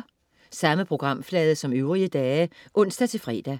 Samme programflade som øvrige dage (ons-fre)